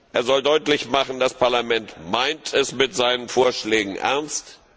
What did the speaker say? Er soll deutlich machen Das Parlament meint es mit seinen Vorschlägen ernst.